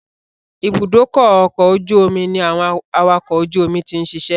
Ìbúdókọ̀ ọ̀kọ̀ ojú omi ní àwọn awakọ̀ ojú omi ti ń ṣiṣẹ́